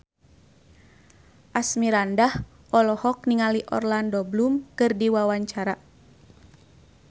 Asmirandah olohok ningali Orlando Bloom keur diwawancara